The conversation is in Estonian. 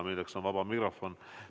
See probleem on vaba mikrofon.